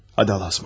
Hadi Allaha əmanət.